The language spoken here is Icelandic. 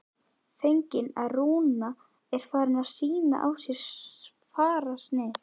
Fegin að Rúna er farin að sýna á sér fararsnið.